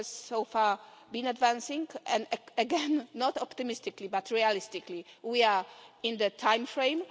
Work has so far been advancing, and again not optimistically but realistically we are in the timeframe.